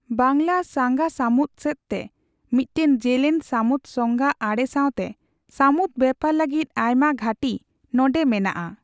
ᱵᱟᱝᱞᱟ ᱥᱟᱸᱜᱟ ᱥᱟᱹᱢᱩᱫᱽ ᱥᱮᱫᱛᱮ ᱢᱤᱫᱴᱟᱝ ᱡᱮᱞᱮᱧ ᱥᱟᱹᱢᱩᱫᱽ ᱥᱚᱸᱜᱟ ᱟᱲᱮ ᱥᱟᱣᱛᱮ, ᱥᱟᱹᱢᱩᱫᱽ ᱵᱮᱯᱟᱨ ᱞᱟᱹᱜᱤᱫ ᱟᱭᱢᱟ ᱜᱷᱟᱹᱴᱤ ᱱᱚᱸᱰᱮ ᱢᱮᱱᱟᱜᱼᱟ ᱾